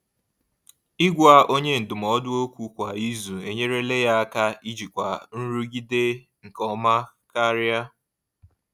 Ịgwa onye ndụmọdụ okwu kwa izu enyerela ya aka ijikwa nrụgide nke ọma karịa.